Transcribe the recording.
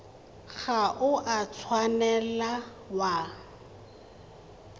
ga o a tshwanela wa